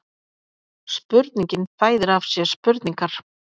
Spurningin fæðir af sér spurningar